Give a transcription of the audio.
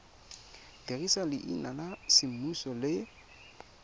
dirisa leina la semmuso le